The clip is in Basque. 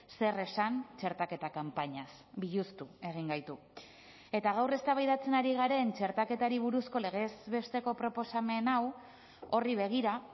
zer esan txertaketa kanpainaz biluztu egin gaitu eta gaur eztabaidatzen ari garen txertaketari buruzko legez besteko proposamen hau horri begira